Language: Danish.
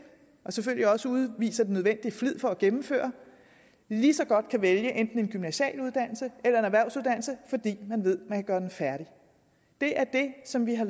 og selvfølgelig også udviser den nødvendige flid for at gennemføre lige så godt kan vælge enten en gymnasial uddannelse eller en erhvervsuddannelse fordi man ved man kan gøre den færdig det er det som vi har